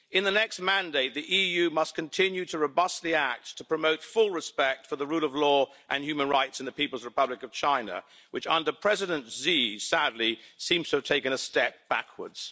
In the next mandate, the EU must continue to robustly act to promote full respect for the rule of law and human rights in the People's Republic of China, which under President Xi, sadly, seems to have taken a step backwards.